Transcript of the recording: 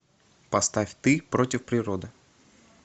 поставь ты против природы